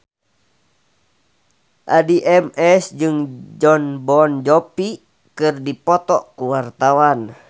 Addie MS jeung Jon Bon Jovi keur dipoto ku wartawan